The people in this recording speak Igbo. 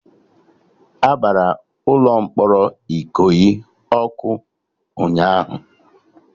Agbara ụlọ mkpọrọ Ikoyi ọkụ ụnyaahụ